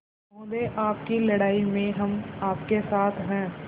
महोदय आपकी लड़ाई में हम आपके साथ हैं